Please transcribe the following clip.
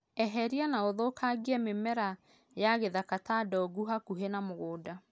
Eheria na ũthũkangie mĩmera ya gĩthaka ta ndongu hakuhĩ na mũgũnda.